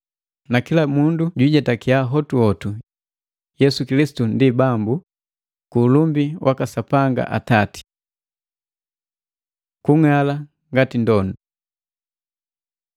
na kila mundu jwiijetakiya hotuhotu Yesu Kilisitu ndi Bambu, ku ulumbi waka Sapanga Atati. Kung'ala ngati ndondu